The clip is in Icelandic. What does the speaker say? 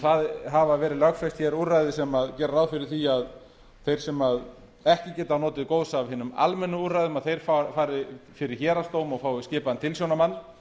það hafa verið lögfest hér úrræði sem gera ráð fyrir því að þeir sem ekki geti notið góðs af hinum almennu úrræðum að þeir fari fyrir héraðsdóm og fái skipaðan tilsjónarmann